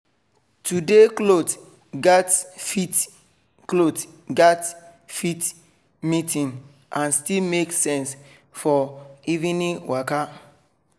today cloth gatz fit cloth gatz fit meeting and still make sense for evening waka